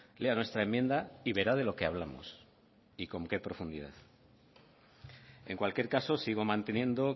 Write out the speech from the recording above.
lea nuestra enmienda y verá de lo que hablamos y con qué profundidad en cualquier caso sigo manteniendo